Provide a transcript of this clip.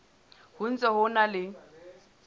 ho ntse ho na le